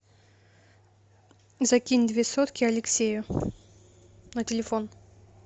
закинь две сотки алексею на телефон